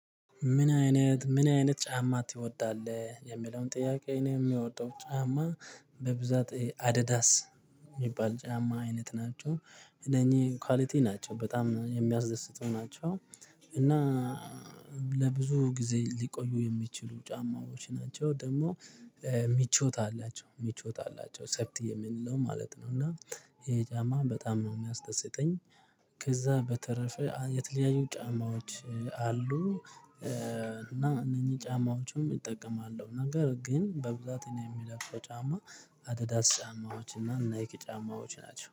ምን አይነት ምን አይነት ጫማ ትወዳለህ የሚለውን ጥያቄ ነው? የምወደው ጫማ በብዛት አዲዳስ የሚባል ጫማ አይነት ናቸው እነኚህ ኳሊቲ ናቸው በጣም የሚያስደስቱ ናቸው። እና ለብዙ ጊዜ ሊቆዩ የሚችሉ ጫማዎች ናቸው ደግሞ ምቾት አላቸው ምቾት አላቸው ሰፍቲ የምንለው ማለት ነው። እና ይሄ ጫማ በጣም ነው የሚያስደስተኝ። ከዛ በተረፈ የተለያዩ ጫማዎች አሉ። እና እነኚህ ጫማዎችም እጠቀማለሁ ነገር ግን በብዛት የምጠቀመው ጫማ አዲዳስ ጫማዎች እና ናይኪ ጫማዎች ናቸው